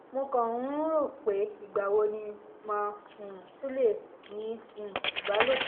mo kàn ń um rò ó pé ìgbà wo ni màá um tún lè ní um ìbálòpọ̀